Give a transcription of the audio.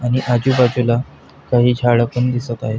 आणि आजूबाजूला काही झाड पण दिसत आहेत.